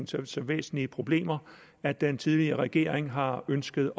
til så væsentlige problemer at den tidligere regering har ønsket